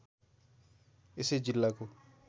यसै जिल्लाको